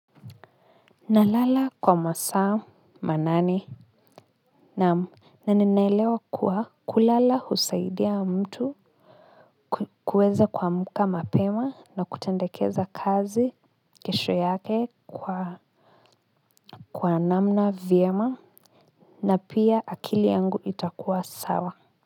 Nalala kwa masaa manane, naam, na ninaelewa kuwa kulala husaidia mtu kuweza kuamka mapema na kutendekeza kazi kesho yake kwa namna vyema na pia akili yangu itakuwa sawa.